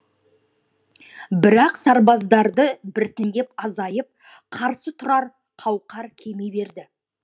бірақ сарбаздары біртіндеп азайып қарсы тұрар қауқар кеми берді